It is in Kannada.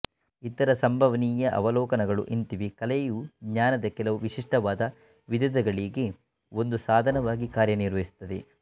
ಇತರ ಸಂಭವನೀಯ ಅವಲೋಕನಗಳು ಇಂತಿವೆ ಕಲೆಯು ಜ್ಞಾನದ ಕೆಲವು ವಿಶಿಷ್ಟವಾದ ವಿಧದಗಳಿಗೆ ಒಂದು ಸಾಧನವಾಗಿ ಕಾರ್ಯನಿರ್ವಹಿಸುತ್ತದೆ